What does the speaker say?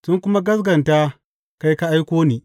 Sun kuma gaskata kai ka aiko ni.